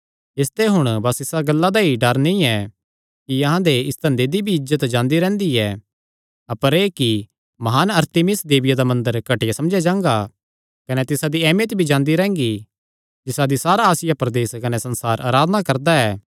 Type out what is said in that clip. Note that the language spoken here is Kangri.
इसते हुण बस इसा गल्ला दा ई डर नीं ऐ कि अहां दे इस धंधे दी इज्जत भी जांदी रैंह्गी ऐ अपर एह़ कि म्हान अरतिमिस देविया दा मंदर घटिया समझेया जांगा कने तिसा दी ऐमियत भी जांदी रैंह्गी जिसादी सारा आसिया प्रदेस कने संसार अराधना करदा ऐ